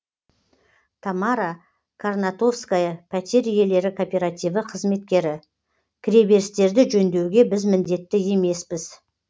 тамара карнатовская пәтер иелері кооперативі қызметкері кіреберістерді жөндеуге біз міндетті емеспіз